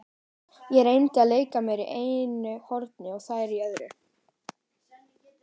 Ég reyndi að leika mér í einu horni og þær í öðru.